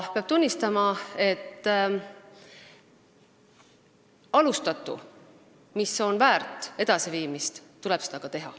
Peab tunnistama, et kui alustatu on väärt edasiviimist, siis tuleb seda teha.